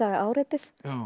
áreitið